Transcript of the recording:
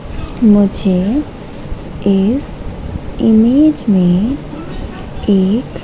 मुझे इस इमेज में एक--